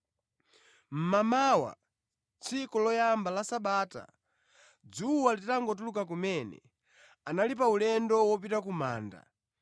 Mmamawa, tsiku loyamba la Sabata, dzuwa litangotuluka kumene, anali pa ulendo wopita ku manda